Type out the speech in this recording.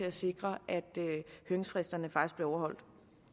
at sikre at høringsfristerne faktisk blev overholdt